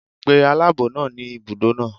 Pe aláàbọ̀ náà ni ibùdó náà.